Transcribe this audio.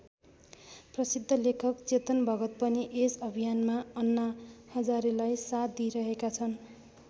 प्रसिद्ध लेखक चेतन भगत पनि यस अभियानमा अन्ना हजारेलाई साथ दिइरहेका छन्।